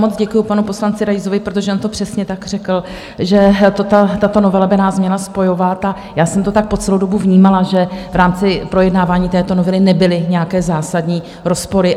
Moc děkuju panu poslanci Raisovi, protože on to přesně tak řekl, že tato novela by nás měla spojovat, a já jsem to tak po celou dobu vnímala, že v rámci projednávání této novely nebyly nějaké zásadní rozpory.